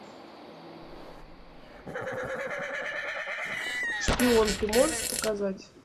шпион ты можешь показать